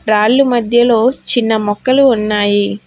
రాళ్ళు మధ్యలో చిన్న మొక్కలు ఉన్నాయి.